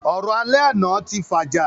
Ọ̀rọ̀ alẹ́ àná tí fàjà